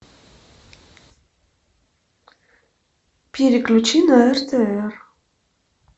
переключи на ртр